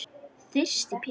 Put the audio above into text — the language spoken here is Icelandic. Þyrsti Pétur.